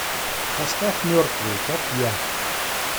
поставь мертвые как я